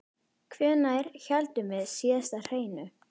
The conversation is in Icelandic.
Hvenær héldum við síðast hreinu?